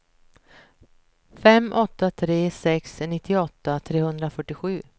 fem åtta tre sex nittioåtta trehundrafyrtiosju